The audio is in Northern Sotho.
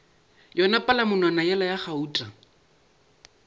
yona palamonwana yela ya gauta